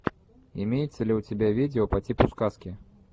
имеется ли у тебя видео по типу сказки